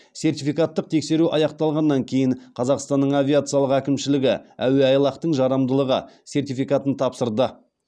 сертификаттық тексеру аяқталғаннан кейін қазақстанның авиациялық әкімшілігі әуеайлақтың жарамдылығы сертификатын тапсырды